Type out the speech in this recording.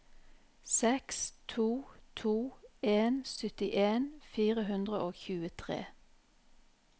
seks to to en syttien fire hundre og tjuetre